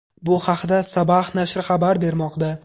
Bu haqda Sabah nashri xabar bermoqda .